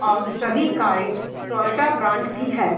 और सभी कारे टोयोटा ब्रांड की है।